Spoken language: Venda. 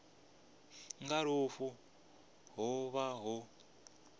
nga lufu ho vha hu